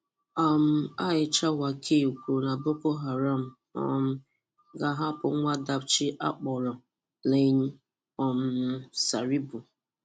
um Aisha Wakil kwùrù na Boko Haram um gā-ahapụ́ nwa Dapchi Dapchi akpọ́rọ Leah um Sharibu.